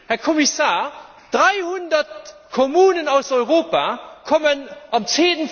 Herr Kommissar, 300 Kommunen aus Europa kommen